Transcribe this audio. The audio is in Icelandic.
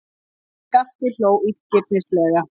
Skapti hló illgirnislega.